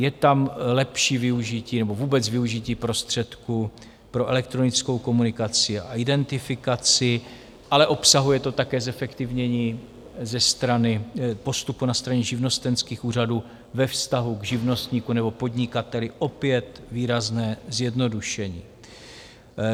Je tam lepší využití nebo vůbec využití prostředků pro elektronickou komunikaci a identifikaci, ale obsahuje to také zefektivnění postupu na straně živnostenských úřadů ve vztahu k živnostníkovi nebo podnikateli, opět výrazné zjednodušení.